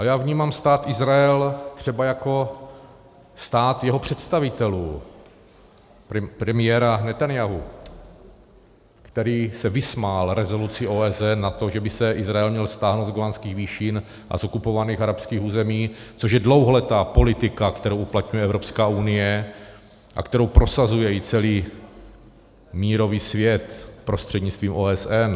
A já vnímám Stát Izrael třeba jako stát jeho představitelů, premiéra Netanjahua, který se vysmál rezoluci OSN na to, že by se Izrael měl stáhnout z Golanských výšin a z okupovaných arabských území, což je dlouholetá politika, kterou uplatňuje Evropská unie a kterou prosazuje i celý mírový svět prostřednictvím OSN.